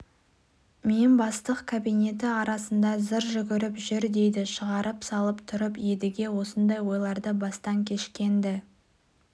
мен бастық кабинеті арасында зыр жүгіріп жүр дейді шығарып салып тұрып едіге осындай ойларды бастан кешкен-ді